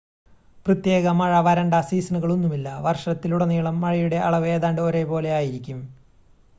"പ്രത്യേക "മഴ" "വരണ്ട" സീസണുകളൊന്നുമില്ല: വർഷത്തിലുടനീളം മഴയുടെ അളവ് ഏതാണ്ട് ഒരേപോലെ ആയിരിക്കും.